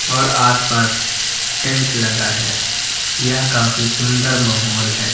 और आस पास टेंट लगा है यह काफी सुंदर माहौल है।